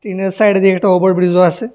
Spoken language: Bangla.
ট্রেনের সাইড দিয়ে একটা ওভার ব্রিজও আছে।